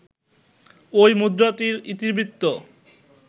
ঐ মুদ্রাটির ইতিবৃত্ত